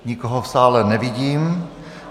Nikoho v sále nevidím.